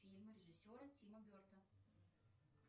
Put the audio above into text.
фильм режиссера тима берта